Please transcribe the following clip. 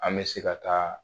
An bɛ se ka taa